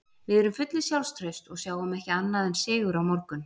Við erum fullir sjálfstrausts og sjáum ekki annað en sigur á morgun.